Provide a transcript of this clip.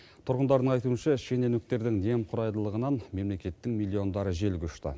тұрғындардың айтуынша шенеуніктердің немқұрайдылығынан мемлекеттің миллиондары желге ұшты